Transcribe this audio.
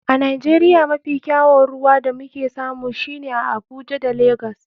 A nigeria mafi kyawun ruwa da muke samu shine a abuja da lagos.